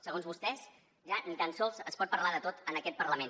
segons vostès ja ni tan sols es pot parlar de tot en aquest parlament